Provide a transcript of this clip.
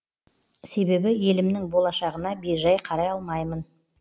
себебі елімнің болашағына бейжай қарай алмаймын